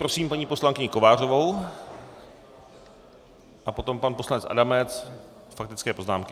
Prosím paní poslankyni Kovářovou a potom pan poslanec Adamec, faktické poznámky.